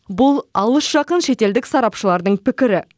бұл алыс жақын шетелдік сарапшылардың пікірі